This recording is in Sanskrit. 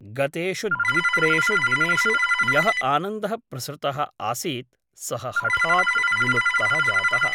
गतेषु द्वित्रेषु दिनेषु यः आनन्दः प्रसृतः आसीत् सः हठात् विलुप्तः जातः ।